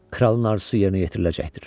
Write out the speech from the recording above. Kralın arzusu yerinə yetiriləcəkdir.